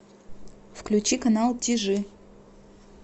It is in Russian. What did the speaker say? включи канал тижи